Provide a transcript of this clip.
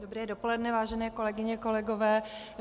Dobré dopoledne, vážené kolegyně, kolegové.